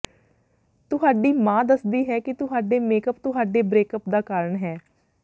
ਤੁਹਾਡੀ ਮਾਂ ਦੱਸਦੀ ਹੈ ਕਿ ਤੁਹਾਡੇ ਮੇਕਅਪ ਤੁਹਾਡੇ ਬਰੇਕਅੱਪ ਦਾ ਕਾਰਨ ਹੈ